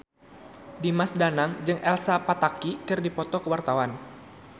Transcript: Dimas Danang jeung Elsa Pataky keur dipoto ku wartawan